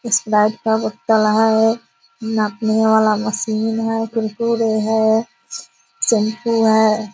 Sprite का बोतल है नापने वाला मशीन है कुरकुरे है शैम्पू है --